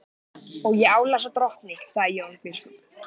Og ég álasa drottni, sagði Jón biskup.